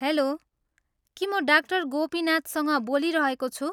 Hello, के म डा. गोपिनाथसँग बोलिरहेको छु?